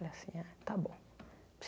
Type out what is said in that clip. Falei assim, ah tá bom.